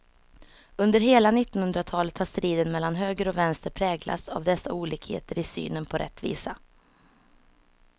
Under hela nittonhundratalet har striden mellan höger och vänster präglats av dessa olikheter i synen på rättvisa.